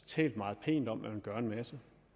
talt meget pænt om at man ville gøre en masse